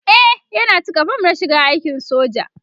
e Yana cika form na shiga aikin soja